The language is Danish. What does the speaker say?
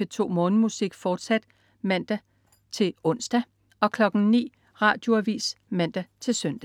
P2 Morgenmusik, fortsat (man-ons) 09.00 Radioavis (man-søn)